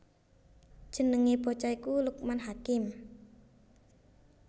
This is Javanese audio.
Jenengé bocah iku Lukman Hakim